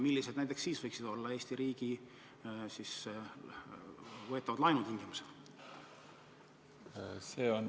Millised näiteks siis võiksid olla Eesti riigi võetava laenu tingimused?